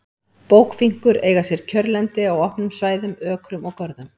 Bókfinkur eiga sér kjörlendi á opnum svæðum, ökrum og görðum.